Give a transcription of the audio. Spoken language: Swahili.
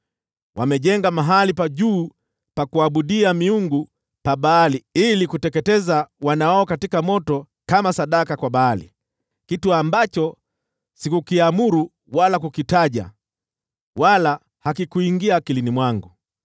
Wamejenga mahali pa juu pa kuabudia miungu pa Baali ili kuteketeza wana wao katika moto kama sadaka kwa Baali, kitu ambacho sikukiamuru wala kukitaja, wala hakikuingia akilini mwangu.